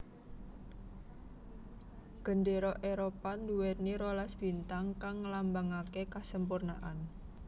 Gendéra Éropah nduwèni rolas bintang kang ngelambangake kasempurnaan